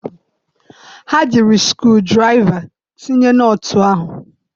Ha jiri skru draịva tinye nọtụ ahụ.